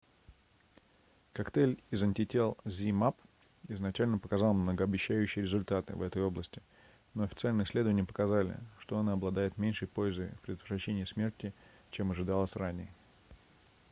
коктейль из антител zmapp изначально показал многообещающие результаты в этой области но официальные исследования показали что он обладает меньшей пользой в предотвращении смерти чем ожидалось ранее